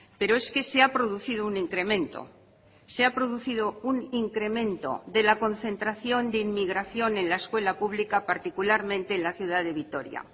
pero es que se ha producido un incremento se ha producido un incremento de la concentración de inmigración en la escuela pública particularmente en la ciudad de vitoria